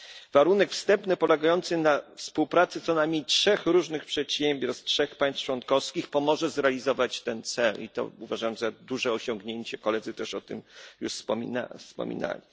Warunek wstępny polegający na współpracy co najmniej trzech różnych przedsiębiorstw z trzech państw członkowskich pomoże zrealizować ten cel i to uważam za duże osiągnięcie koledzy też już o tym wspominali.